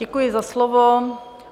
Děkuji za slovo.